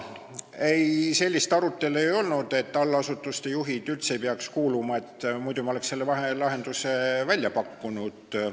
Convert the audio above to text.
Ei, sellist arutelu ei olnud, et allasutuste juhid üldse ei peaks sinna kuuluma, muidu me oleks selle vahelahenduse välja pakkunud.